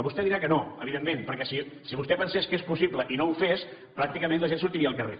vostè dirà que no evidentment perquè si vostè pensés que és possible i no ho fes pràcticament la gent sortiria al carrer